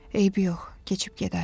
Eybi yox, keçib gedər.